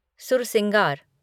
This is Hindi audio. सुरसिंगार